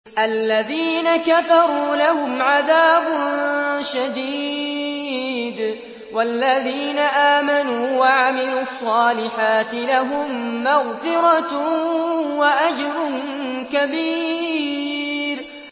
الَّذِينَ كَفَرُوا لَهُمْ عَذَابٌ شَدِيدٌ ۖ وَالَّذِينَ آمَنُوا وَعَمِلُوا الصَّالِحَاتِ لَهُم مَّغْفِرَةٌ وَأَجْرٌ كَبِيرٌ